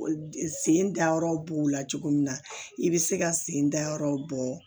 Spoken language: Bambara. Sen sen dayɔrɔ b'o la cogo min na i bɛ se ka sen da yɔrɔw bɔ